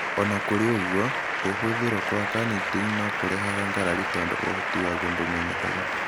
O na kũrĩ ũguo, kũhũthĩrũo kwa carnitine no kũrehaga ngarari tondũ ũhoti waguo ndũmenyekaga.